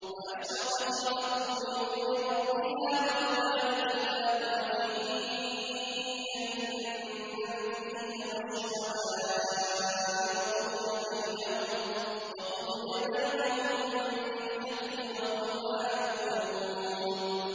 وَأَشْرَقَتِ الْأَرْضُ بِنُورِ رَبِّهَا وَوُضِعَ الْكِتَابُ وَجِيءَ بِالنَّبِيِّينَ وَالشُّهَدَاءِ وَقُضِيَ بَيْنَهُم بِالْحَقِّ وَهُمْ لَا يُظْلَمُونَ